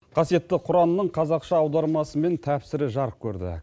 қасиетті құранның қазақша аудармасы мен тәпсірі жарық көрді